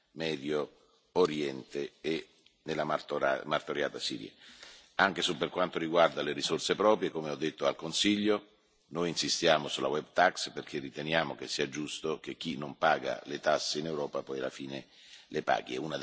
Medio Oriente e nella martoriata Siria. Anche per quanto riguarda le risorse proprie, come ho detto al Consiglio, noi insistiamo sulla web tax perché riteniamo che sia giusto che chi non paga le tasse in Europa poi alla fine le paghi.